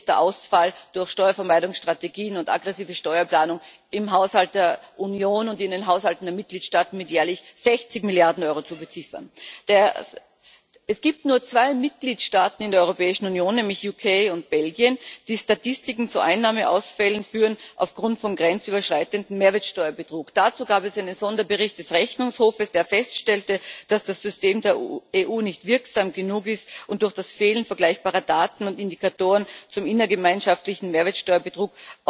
Hier ist der Ausfall durch Steuervermeidungsstrategien und aggressive Steuerplanung im Haushalt der Union und in den Haushalten der Mitgliedstaaten mit jährlich 60 Milliarden Euro zu beziffern. Es gibt nur zwei Mitgliedstaaten in der Europäischen Union, nämlich das Vereinigte Königreich und Belgien, die Statistiken zu Einnahmeausfällen aufgrund von grenzüberschreitendem Mehrwertsteuerbetrug führen. Dazu gab es einen Sonderbericht des Rechnungshofs, in dem festgestellt wurde, dass das System der EU nicht wirksam genug ist und durch das Fehlen vergleichbarer Daten und Indikatoren zum innergemeinschaftlichen Mehrwertsteuerbetrug